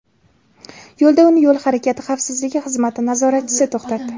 Yo‘lda uni yo‘l harakati xavfsizligi xizmati nazoratchisi to‘xtatdi.